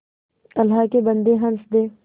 अल्लाह के बन्दे हंस दे